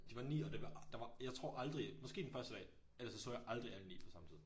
De var 9 og det var der var jeg tror aldrig måske den første dag. Ellers så så jeg aldrig alle 9 på samme tid